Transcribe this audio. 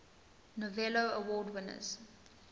novello award winners